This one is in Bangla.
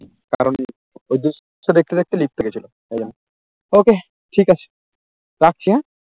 ঐ দৃশ্য দেখতে দেখতে লিপ্ত হয়ে গেছিল Okay ঠিক আছে রাখছি হ্যাঁ